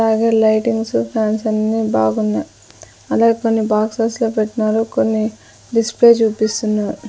అలాగే lightings fans అన్నీ బాగున్నాయ్ అలాగే కొన్ని బాక్సెస్ లో పెట్నారు కొన్ని డిస్ప్లే చూపిస్తున్నారు.